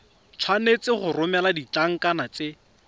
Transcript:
tshwanetse go romela ditlankana tse